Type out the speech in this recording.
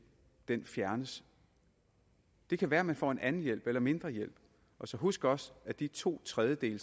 fjernes det kan være at man får en anden hjælp eller mindre hjælp og så husk også de to tredjedele